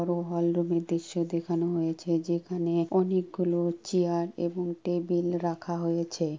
কোন হল রুমের দৃশ্য দেখানো হয়েছে। যেখানে অনেক গুলো চেয়ার এবং টেবিল রাখা হয়েছে।